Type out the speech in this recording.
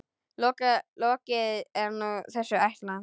Lokið er nú þessi ætlan.